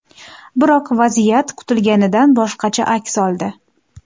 Biroq vaziyat kutilganidan boshqacha aks oldi.